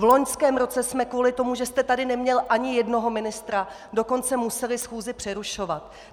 V loňském roce jsme kvůli tomu, že jste tady neměl ani jednoho ministra, dokonce museli schůzi přerušovat.